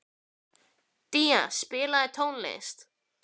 Día, spilaðu tónlist.